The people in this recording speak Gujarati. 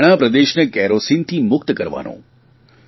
હરિયાણા પ્રદેશને કેરોસીનથી મુક્ત કરાવવાનું